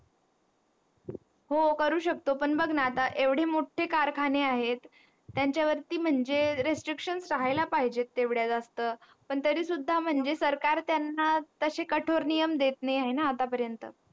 हो करू शकतो पण बघ ना आता एवढे मोठे कारखाने आहेत त्यांच्या वरती म्हणजे rescription करायला पाहिजे तेवढ्या जास्त तरी सुद्धा म्हणजे सरकार त्यांना तसे कठोर नियम देत नाही आहे ना आतापरेन्त